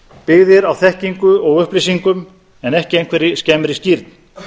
byggðir á þekkingu og upplýsingum en ekki einhverri skemmri skírn